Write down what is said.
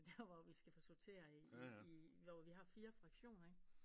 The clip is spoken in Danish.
Hvor der hvor vi skal sortere i i hvor vi har fire fraktioner ikke